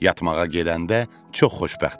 Yatmağa gedəndə çox xoşbəxt idi.